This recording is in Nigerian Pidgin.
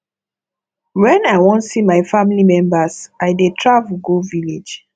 wen i wan see my family members i dey travel go village